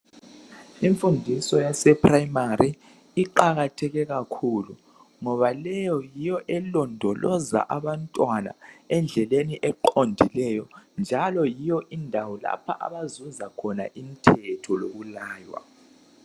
Imfundiso yase Primary iqakatheke kakhulu ngoba leyo yiyo elondoloza abantwana endleleni eqondileyo njalo yiyo indawo lapho abazuza khona imthetho lokulaywa.